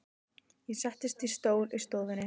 Ég settist í stól í stofunni.